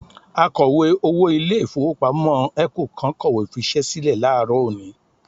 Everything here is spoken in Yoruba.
Akọ̀wé-owó ilé-ìfowópamọ́ ECO kan kọ̀wé fiṣẹ́ sílẹ̀ láàárọ̀ òní